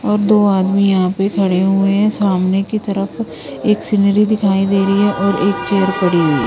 और दो आदमी यहां पे खड़े हुए है सामने की तरफ एक सीनरी दिखाई दे री है और एक चेयर पड़ी हुई--